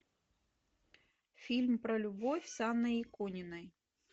фильм про любовь с анной икониной